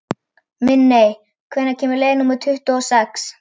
Minney, hvenær kemur leið númer tuttugu og sex?